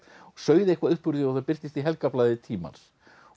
sauð eitthvað upp úr því og það birtist í helgarblaði tímans